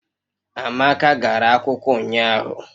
Amaka gara akwụkwọ ụnyahụ